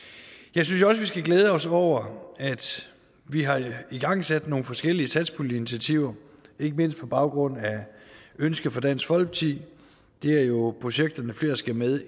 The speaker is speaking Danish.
jeg synes også vi skal glæde os over at vi har igangsat nogle forskellige satspuljeinitiativer ikke mindst på baggrund af et ønske fra dansk folkeparti det er jo projekterne flere skal med